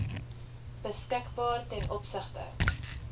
beskikbaar ten opsigte